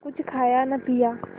कुछ खाया न पिया